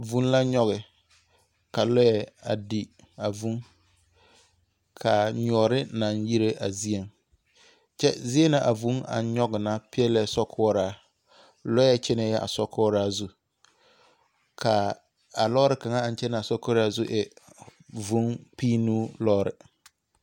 Vũũ la nyɔge, ka lɔɛ a di a vũũ, ka nyɔɔre naŋ yire a zieŋ. Kyɛ zie na a vũũ aŋ nyɔge na peɛlɛɛ sokoɔraa. Lɔɛ kyɛnɛɛ a sokoɔraa zu. Ka, a lɔɔre kaŋa aŋ kyɛnɛ a sokoɔraa zu e vũũ kpinnuu lɔɔre.